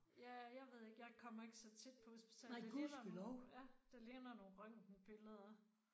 Ja jeg ved ikke jeg kommer ikke så tit på hospitalet det ligner nogen ja det ligner nogle røntgenbilleder